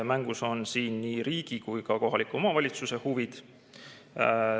Mängus on siin nii riigi kui ka kohaliku omavalitsuse huvid.